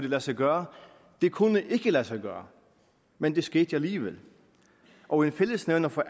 lade sig gøre det kunne ikke lade sig gøre men det skete alligevel og en fællesnævner for